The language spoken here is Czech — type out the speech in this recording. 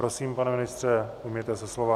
Prosím, pane ministře, ujměte se slova.